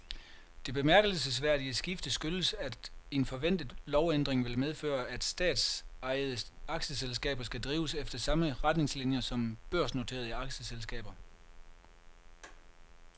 Det bemærkelsesværdige skifte skyldes, at en forventet lovændring vil medføre, at statsejede aktieselskaber skal drives efter samme retningslinier som børsnoterede aktieselskaber.